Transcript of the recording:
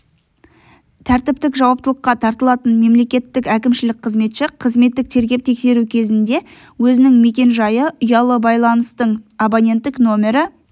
тәртіптік жауаптылыққа тартылатын мемлекеттік әкімшілік қызметші қызметтік тергеп-тексеру кезінде өзінің мекенжайы ұялы байланыстың абоненттік нөмірі